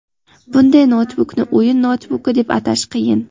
bunday noutbukni o‘yin noutbuki deb atash qiyin.